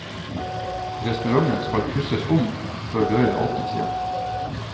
Restauranten skal pusses om før dørene igjen åpnes.